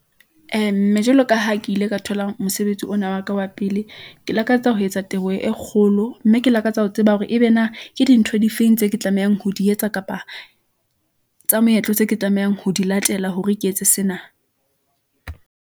Mme jwalo ka ha ke ile ka thola mosebetsi ona wa ka wa pele. Ke lakatsa ho etsa teboho e kgolo mme ke lakatsa ho tseba hore ebe na ke dintho di feng tse ke tlamehang ho di etsa kapa tsa moetlo tseo ke tlamehang ho di latela hore ke etse sena.